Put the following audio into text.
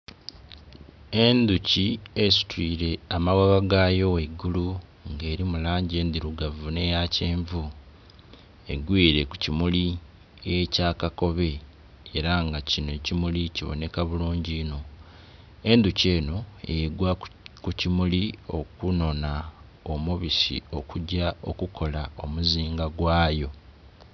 Endhuki esitwire amaghagha gaayo ghaigulu nga elimu langi endhirugavu nh'eya kyenvu, egwire ku kimuli ekya kakobe, ela nga kinho ekimuli kibonheka bulungi inho. Endhuki enho egwa ku kimuli okunhonha omubisi, okugya okukola omuzinga gwayo.